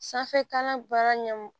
Sanfɛkalan baara ɲɛ